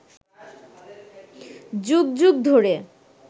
যুগ যুগ ধরে